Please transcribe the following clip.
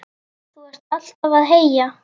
Þú ert alltaf að heyja